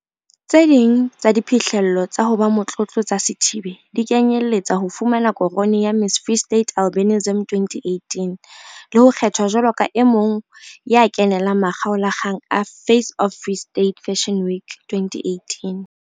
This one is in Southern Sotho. Tse ding tsa diphihlello tsa ho ba motlotlo tsa Sithibe di kenyelletsa ho fumana korone ya Miss Free State Albinism 2018 le ho kgethwa jwalo ka e mong wa kenelang makgaola kgang a Face of Free State Fashion Week 2018.